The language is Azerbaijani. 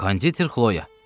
Konditer Xloya.